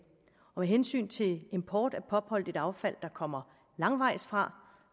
og med hensyn til import af pop holdigt affald der kommer langvejs fra